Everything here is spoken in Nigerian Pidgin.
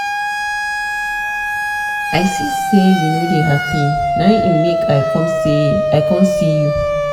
i see sey you no dey hapi na im make i com see you.